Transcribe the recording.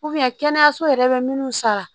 kɛnɛyaso yɛrɛ bɛ minnu sara